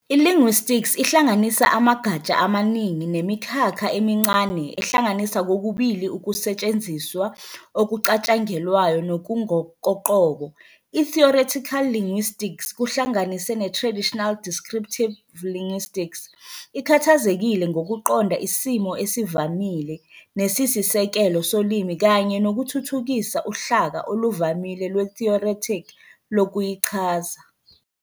I-Linguistics ihlanganisa amagatsha amaningi nemikhakha emincane ehlanganisa kokubili ukusetshenziswa okucatshangelwayo nokungokoqobo. I-theoretical linguistics, kuhlanganise ne-traditional descriptive linguistics, ikhathazekile ngokuqonda isimo esivamile nesisisekelo solimi kanye nokuthuthukisa uhlaka oluvamile lwe-theoretic lokuyichaza.